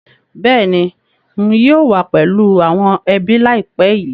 Bẹ́ẹ̀ni ń yìí ó wà pẹ̀lú àwọn ẹbí laipẹ́ yí